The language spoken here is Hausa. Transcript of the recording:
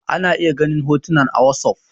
ana iya ganin hotuna a wasof